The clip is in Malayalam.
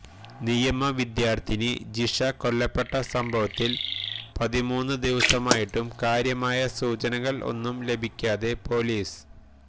നിയമവിദ്യാർത്ഥിനി ജിഷ കൊല്ലപ്പെട്ട സംഭവത്തിൽ പതിമൂന്ന് ദിവസമായിട്ടും കാര്യമായ സൂചനകൾ ഒന്നും ലഭിക്കാതെ പൊലീസ്